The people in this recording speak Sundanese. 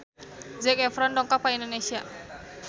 Zac Efron dongkap ka Indonesia